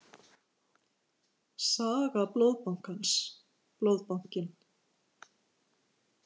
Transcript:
Saga Blóðbankans- Blóðbankinn.